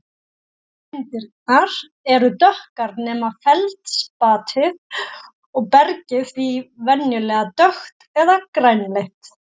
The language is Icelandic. Frumsteindirnar eru dökkar nema feldspatið og bergið því venjulega dökkt eða grænleitt.